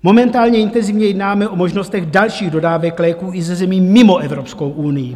Momentálně intenzivně jednáme o možnostech dalších dodávek léků i ze zemí mimo Evropskou unii.